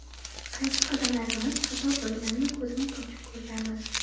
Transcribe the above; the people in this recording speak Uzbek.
Qaysi qadamlarimiz xato bo‘lganini ko‘zimizni ochib ko‘rganmiz.